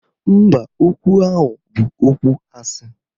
Mba, okwu ahụ bụ okwu asị